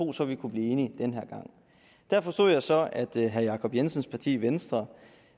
også ville kunne blive enige den her gang der forstod jeg så at herre jacob jensens parti venstre